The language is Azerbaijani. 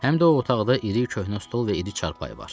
Həm də o otaqda iri, köhnə stol və iri çarpayı var.